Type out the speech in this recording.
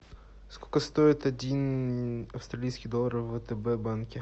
сколько стоит один австралийский доллар в втб банке